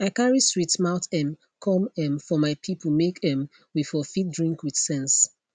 i carry sweet mouth um come um for my people make um we for fit drink with sense